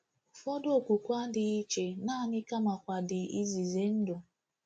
Ụfọdụ okwukwe adịghị iche naanị kamakwa dị ize ize ndụ.